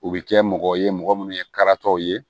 U bɛ kɛ mɔgɔ ye mɔgɔ minnu ye karataw ye